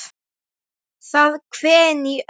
Það hvein í ömmu.